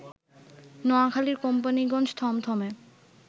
নোয়াখালীর কোম্পানীগঞ্জ থমথমে